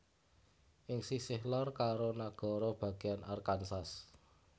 Ing sisih lor karo nagara bagéyan Arkansas